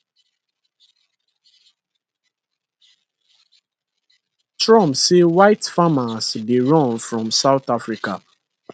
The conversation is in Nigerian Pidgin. trump say white farmers dey run from south africa